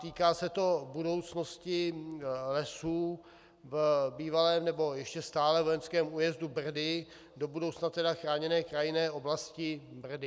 Týká se to budoucnosti lesů v bývalém, nebo ještě stále vojenském újezdu Brdy, do budoucna tedy Chráněné krajinné oblasti Brdy.